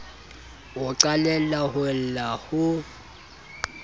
o qalella ho lla ho